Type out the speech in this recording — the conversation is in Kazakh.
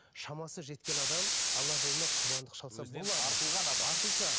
шамасы жеткен адам алла жолына құрбандық шалса артылған адам артылса